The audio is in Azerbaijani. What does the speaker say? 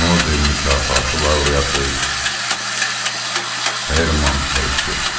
Nobel mükafatı laureatı Herman Hesse.